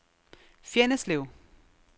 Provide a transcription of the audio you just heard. Fjenneslev